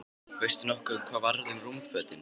Veistu nokkuð hvað varð um rúmfötin?